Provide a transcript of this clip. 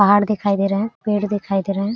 पहाड़ दिखाई दे रहा है पेड़ दिखाई दे रहा है।